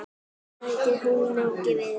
Bætið hunangi við.